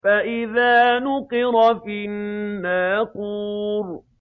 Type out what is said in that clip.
فَإِذَا نُقِرَ فِي النَّاقُورِ